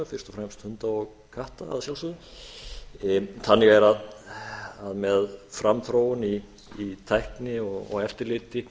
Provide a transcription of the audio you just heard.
fyrst og fremst hunda og katta að sjálfsögðu þannig er að með framþróun í tækni og eftirliti